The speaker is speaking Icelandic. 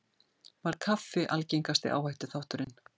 Var kaffi algengasti áhættuþátturinn